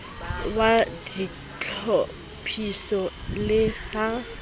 wa ditlhophiso le ha e